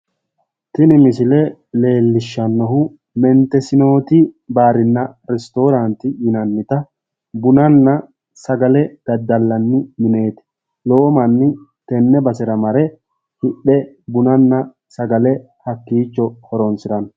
Tini misile leellishshannohu mintesinooti baarinna restooraanti yinannita bunanna sagale daddallanni mineeti. lowo manni tenne basera mare hidhe bunana sagale hakiichcho horonsiranno.